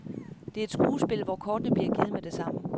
Det er et skuespil, hvor kortene bliver givet med det samme.